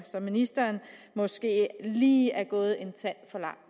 ministeren måske lige er gået en tand